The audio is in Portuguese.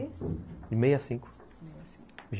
De meio a cinco, meia cinco.